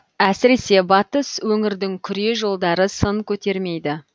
әсіресе батыс өңірдің күре жолдары сын көтермейді